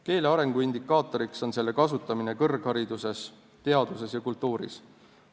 Keele arengu indikaatoriks on selle kasutamine kõrghariduses, teaduses ja kultuuris.